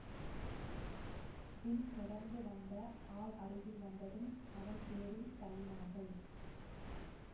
பின் தொடர்ந்து வந்த ஆள் அருகில் வந்ததும் அவன் பேரில் தள்ளினார்கள்